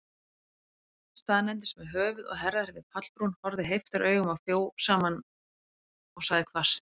Staðnæmdist með höfuð og herðar við pallbrún, horfði heiftaraugum á fjósamann, og sagði hvasst